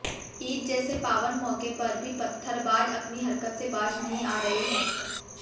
ईद जैसे पावन मौके पर भी पत्थरबाज अपनी हरकत से बाज नहीं आ रहे हैं